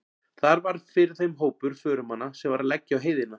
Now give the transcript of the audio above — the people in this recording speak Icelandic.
Þar varð fyrir þeim hópur förumanna sem var að leggja á heiðina.